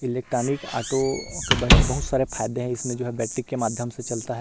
Electronic auto के बहुत सारे फायदे है इसमें जो है बैटरी के माध्यम से चलता हैं।